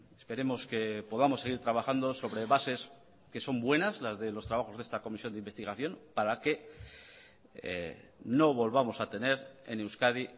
esperemos que podamos seguir trabajando sobre bases que son buenas las de los trabajos de esta comisión de investigación para que no volvamos a tener en euskadi